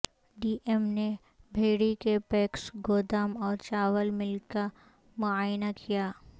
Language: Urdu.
ڈی ایم نے بہیڑی کے پیکس گودام اور چاول مل کا معائنہ کیا